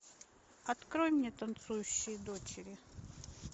открой мне танцующие дочери